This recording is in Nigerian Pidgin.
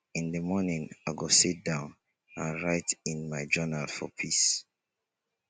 in the morning i go sit down and write in my journal for peace